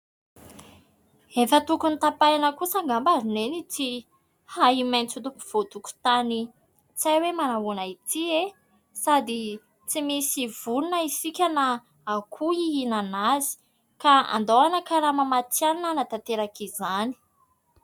Efa tokony hotapahina kosa angamba ry neny ity ahi-maitso eto afovoan-tokontany tsy hay hoe manahoana ity e ? Sady tsy misy vorona isika na akoho hihinana azy, ka andao hanakarama matianina hanatanteraka izany.